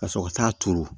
Ka sɔrɔ ka t'a turu